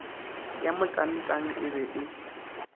ya motangtang e be e